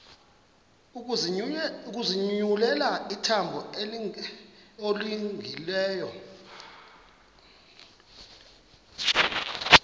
ukuzinyulela ihambo elungileyo